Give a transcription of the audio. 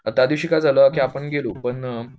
अन् त्या दिवशी काय झालं आपण गेलो पण